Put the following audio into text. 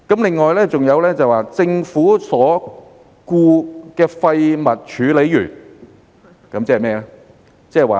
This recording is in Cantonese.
此外，還有"政府所僱廢物處理員"，即是甚麼呢？